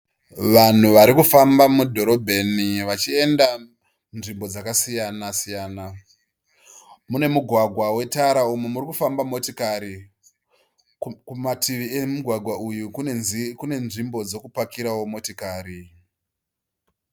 Vanhu varikufamba mudhorobheni vachienda nzvimbo dzakasiyana siyana. Mune mugwagwa unetara uyo urikufamba motokari. Kumativi emugwagwa uyu kune nzvimbo dzekupakirawo motokari.